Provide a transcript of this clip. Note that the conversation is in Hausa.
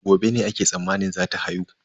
Gobe ne ake tsammanin zata haihu.